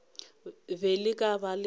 be le ka ba le